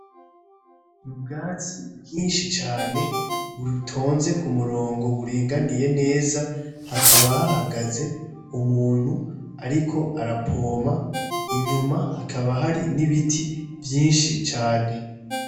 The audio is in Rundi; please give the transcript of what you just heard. Ubwati bwinshi cane butonze ku murongo buringaniye neza, hakaba hahagaze umuntu ariko arapoma, inyuma hakaba hari n'ibiti byinshi cane.